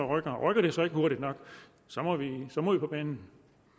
rykker og rykker de så ikke hurtigt nok må vi på banen